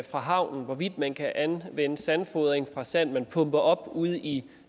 fra havnen hvorvidt man kan anvende sandfodring fra sand man pumper op ude i